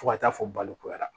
Fo ka taa fɔ balo ko yara